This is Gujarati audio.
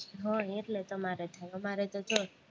હહ એટલે તમારે થાય, અમારે તો કે